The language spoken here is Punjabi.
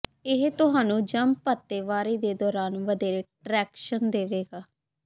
ਇਹ ਤੁਹਾਨੂੰ ਜੰਪ ਅਤੇ ਵਾਰੀ ਦੇ ਦੌਰਾਨ ਵਧੇਰੇ ਟ੍ਰੈਕਸ਼ਨ ਦੇਵੇਗਾ